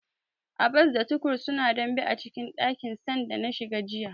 Abbas da Tukur suna dambe a dakin sanda na shiga jiya.